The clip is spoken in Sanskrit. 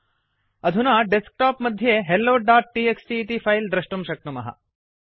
अधुना डेस्कटॉप मध्ये helloटीएक्सटी इति फिले दृष्टुं शक्नुमः